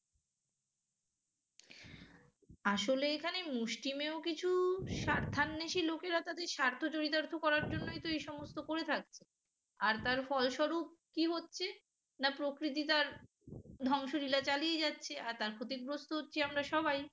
আসলে এখানে তো এই সমস্ত করে থাকে আর তার ফলস্বরূপ কি হচ্ছে না প্রকৃতি তার ধ্বংসলীলা চালিয়ে যাচ্ছে আর ক্ষতিগ্রস্ত হচ্ছি আমরা সবাই